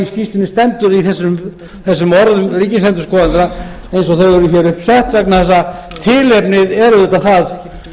skýrslunni stendur í þessum orðum ríkisendurskoðanda eins og þau eru hér upp sett vegna þess að tilefnið er auðvitað það